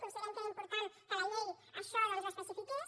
considerem que era important que la llei això doncs ho especifiqués